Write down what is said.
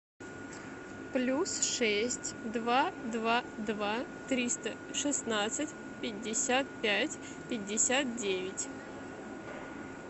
плюс шесть два два два триста шестнадцать пятьдесят пять пятьдесят девять